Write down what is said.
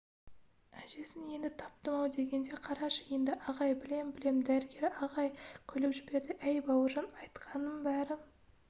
әжесін енді таптым-ау дегенде қарашы енді ағай білем-білем дәрігер ағай күліп жіберді әй бауыржан айтқаныңның бәрі